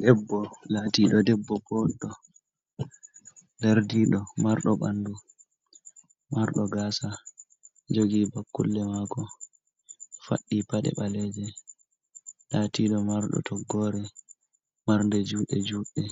Debbo laatiiɗo debbo boɗɗo, dardiiɗo marɗo ɓanndu marɗo gaasa, jogi bakkulle maako, faɗɗi paɗe ɓaleeje, laatiiɗo marɗo toggoore marɗe juuɗe juuɗɗe